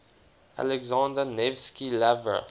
alexander nevsky lavra